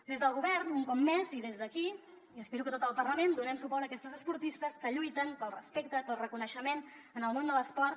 des del govern un cop més i des d’aquí i espero que tot el parlament donem suport a aquestes esportistes que lluiten pel respecte pel reconeixement en el món de l’esport